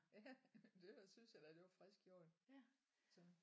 Ja det synes jeg da det var frisk gjort så